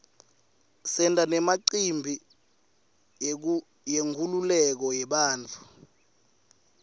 senta nemicimbi yenkululeko yabantfu